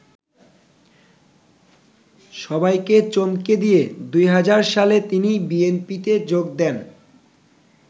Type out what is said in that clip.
সবাইকে চমকে দিয়ে ২০০০ সালে তিনি বিএনপিতে যোগ দেন।